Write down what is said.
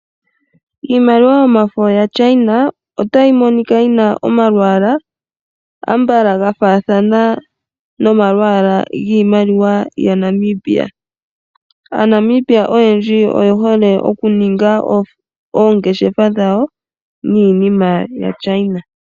Iimaliwa yomafo ya China otayi monika yina omalwaalwa ambala ga faathana noma lwaalwa giimaliwa ya Namibia. Aanamibia oyendji oye hole oku ninga oongeshefa dhawo niinina ya China.